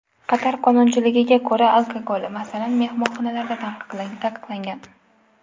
Qatar qonunchiligiga ko‘ra, alkogol, masalan, mehmonxonalarda taqiqlangan.